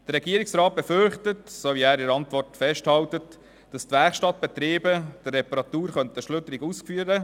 Der Regierungsrat hält in seiner Antwort fest, er befürchte, die Werkstattbetriebe könnten die Arbeit schludrig ausführen.